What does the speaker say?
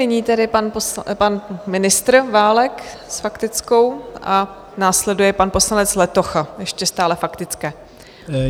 Nyní tedy pan ministr Válek s faktickou a následuje pan poslanec Letocha, ještě stále faktické.